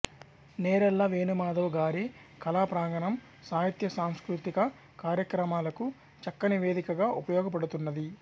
నేరెళ్ళ వేణుమాధవ్ గారి కళాప్రాంగణం సాహిత్యసాంస్కృతిక కార్యక్రమాలకు చక్కని వేదికగా ఉపయోగపడుతున్నది